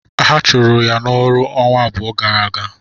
Ha chụrụ ya n'ọrụ ọnwa abụọ gara aga.